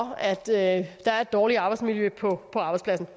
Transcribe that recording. at der er et dårligt arbejdsmiljø på arbejdspladsen